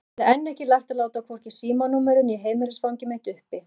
Ég hafði enn ekki lært að láta hvorki símanúmerið né heimilisfangið mitt uppi.